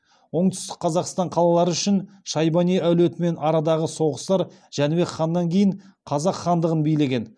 оңтүстік қазақстан қалалары үшін шайбани әулетімен арадағы соғыстар жәнібек ханнан кейін қазақ хандығын билеген